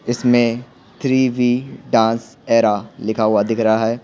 इसमें three V dance era लिखा हुआ दिख रहा है।